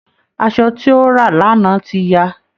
Asọ tí ó rà lánáá ti ya